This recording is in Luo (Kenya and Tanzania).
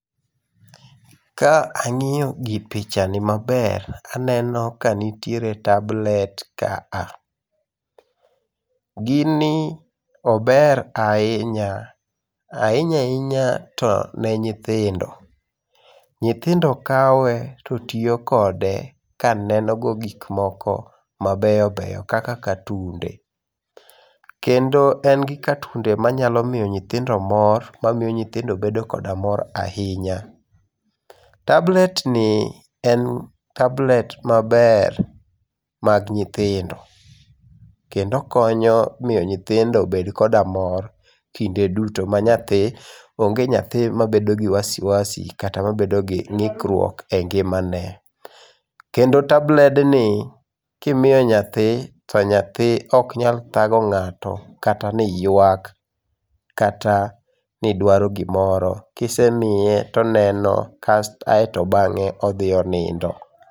Ka angiyo picha ni maber to aneno ka nitiere tablet ka a gini ober ahinya, ahinya ahinya to ne nyithindo, nyithindo kawe to tiyo kode ka neno godo gik ma beyo beyo kaka katunde kendo en gi katunde ma nyalo miyo nyithindo mor ka miyo nyithindo bedo koda mora a hinya tablet ni en tablet maber mag nyithindo kendo okonyo miyo nyithindo bed koda mor kinde duto ma nyathi onge nyathi ma bedo kod wasi wasi kata ma bedo gi ngikruok e ngima ne kendo tablet ni ki miyo nyathi to nyathi ok nyal dhago ngato kata ni ywak kata ni dwaro gi moro kisemiye to oneno kae to bange odhi onindo.